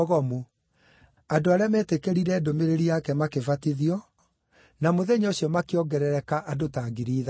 Andũ arĩa meetĩkĩrire ndũmĩrĩri yake makĩbatithio, na mũthenya ũcio makĩongerereka andũ ta ngiri ithatũ.